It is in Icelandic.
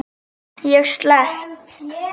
Ég slepp.